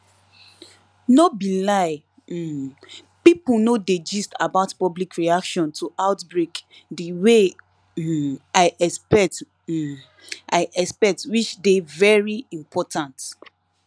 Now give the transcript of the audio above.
no be lie um pipo no dey gist about public reaction to outbreak de way um i expect um i expect which dey very important